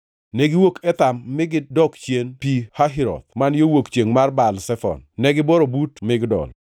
Negiwuok Etham, mi gidok chien Pi Hahiroth, man yo wuok chiengʼ mar Baal Zefon, mi gibworo but Migdol.